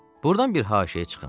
Burdan bir haşiyə çıxım.